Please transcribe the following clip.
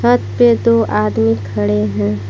छत पे दो आदमी खड़े हैं।